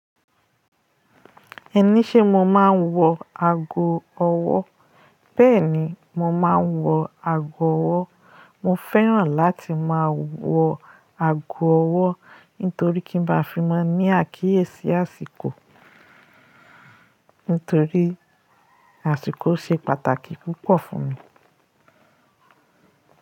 Ẹni ṣe mo máa ń wọ ago ọwọ́? Bẹ́ẹ̀ni, mo máa ń wọ ago ọwọ́. Mo fẹ́ràn láti máa wọ ago ọwọ́ nítorí kí n bá fi máa ní àkíyèsí àsìkò. Nítorí àsìkò ṣe pàtàkì púpọ̀ fún mi.